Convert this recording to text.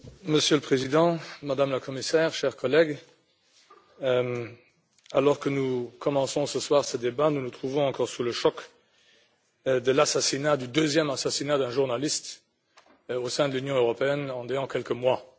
Monsieur le Président, Madame la Commissaire, chers collègues, alors que nous commençons ce soir ce débat, nous nous trouvons encore sous le choc de l'assassinat d'un deuxième journaliste au sein de l'Union européenne en quelques mois.